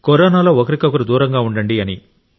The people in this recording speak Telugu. కరోనాలో ఒకరికొకరు దూరంగా ఉండండి